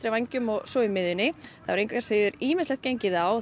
vængjum og svo í miðjunni það hefur engu að síður ýmislegt gengið á